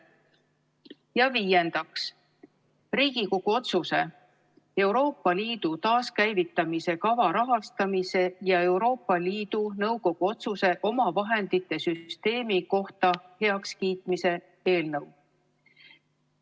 Ja viiendaks, Riigikogu otsuse "Euroopa Liidu taaskäivitamise kava rahastamise ja Euroopa Liidu Nõukogu otsuse omavahendite süsteemi kohta heakskiitmine" eelnõu.